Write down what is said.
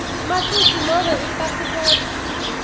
matisi nobe ipasipoti